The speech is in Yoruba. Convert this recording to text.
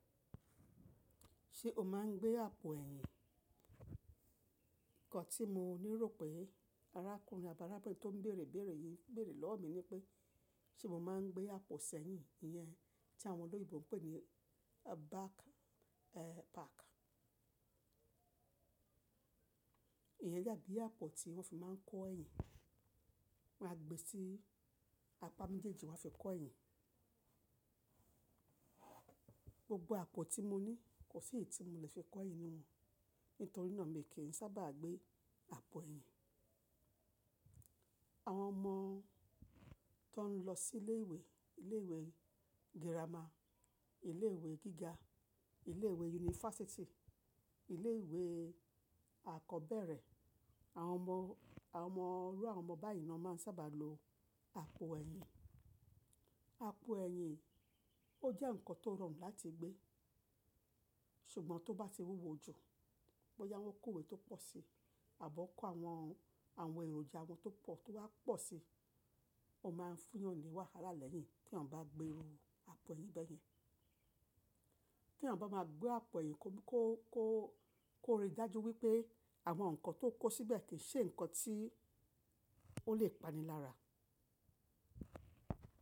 Ṣé o máa ń gbé àpò ẹ̀yìn? Ǹkan tí mo le rò pé arákùnrin abi arabinrin mi tó ń bèèrè ibèèrè yìí bèèrè lọ́wọ́ mi ni pé ṣe mo máa ń gbé àpò sẹ̀yìn iyẹn tí àwọn olóyinbo ń pè ní a back, eh, pack? Ìyẹn dabí àpò tí wọ́n fi máa ń kó ẹ̀yìn. Wọ́n á gbe sí apá méjèèjì wọ́n á fi kó ẹ̀yìn. Gbogbo àpò tí mo ní kò sí èyí tí mo lè fi kó ẹ̀yìn nínú wọn. Nítorí náà mi kì í sábà gbé àpò ẹ̀yìn. Àwọn ọmọ tó ń lọ sí ilé ìwé, ilé ìwé girama, ilé ìwé gíga, ilé ìwé yunifásítì, ilé ìwé akọ́bẹ́rẹ́, àwọn ọmọ, àwọn ọmọ rú àwọn ọmọ báyìí náà máa ń sábà lo àpò ẹ̀yìn. Àpò ẹ̀yìn ó jẹ́ ǹkan tó rọrùn láti gbé, ṣùgbọ́n tó bá ti wúwo jù, bóyá wọ́n kó ìwé tó pọ̀ si àbọ́ kó àwọn, àwọn èròjà wọn tó pọ̀ tó wá pọ̀ si, ó máa ń fún eeyan ni wáhálà lẹ́yìn tí ènìyàn bá gbé àpò ẹ̀yìn bẹ́yẹn. Kí ènìyàn bá máa gbé àpò ẹ̀yìn kó, kó, kó, kó rí i dájú wípé àwọn ǹkan tó kó síbẹ̀ kì í ṣe ǹkan tí ó lè pani lára.